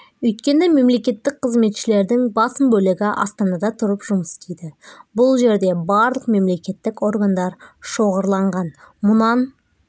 өйткені мемлекеттік қызметішлердің басым бөлігі астанада тұрып жұмыс істейді бұл жерде барлық мемлекеттік органдар шоғырланған мұнан